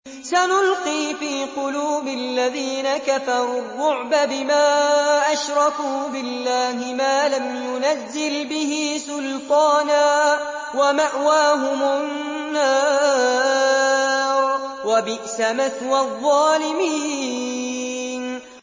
سَنُلْقِي فِي قُلُوبِ الَّذِينَ كَفَرُوا الرُّعْبَ بِمَا أَشْرَكُوا بِاللَّهِ مَا لَمْ يُنَزِّلْ بِهِ سُلْطَانًا ۖ وَمَأْوَاهُمُ النَّارُ ۚ وَبِئْسَ مَثْوَى الظَّالِمِينَ